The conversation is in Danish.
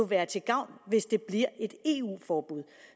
være til gavn hvis det bliver et eu forbud